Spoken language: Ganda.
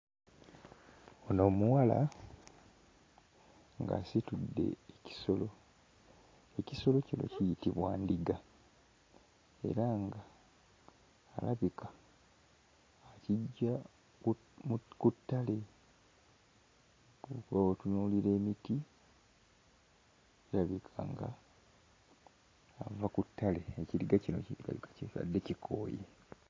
Ono omuwala ng'asitudde ekisolo, ekisolo kino kiyitibwa ndiga era nga alabika akiggya mu mu ku ttale, kuba bw'otunuulira emiti, kirabika ng'ava ku ttale, ekiriga kino kirabika kibadde kikooye.